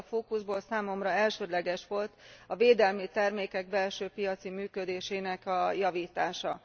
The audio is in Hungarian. Ebből a fókuszból számomra elsődleges volt a védelmi termékek belső piaci működésének javítása.